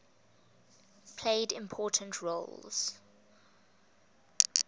played important roles